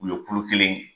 U ye kulo kelen ye